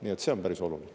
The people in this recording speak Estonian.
Nii et see on päris oluline.